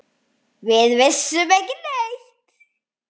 Við vissum ekki neitt.